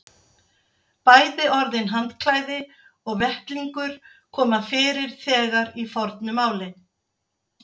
Bæði orðin handklæði og vettlingur koma fyrir þegar í fornu máli.